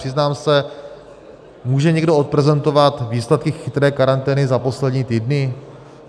Přiznám se - může někdo odprezentovat výsledky chytré karantény za poslední týdny?